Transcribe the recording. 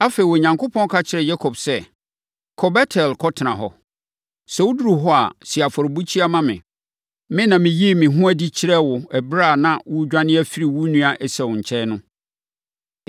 Afei, Onyankopɔn ka kyerɛɛ Yakob sɛ, “Kɔ Bet-El kɔtena hɔ. Sɛ woduru hɔ a, si afɔrebukyia ma me. Me na meyii me ho adi kyerɛɛ wo ɛberɛ a na woredwane afiri wo nua Esau nkyɛn no.”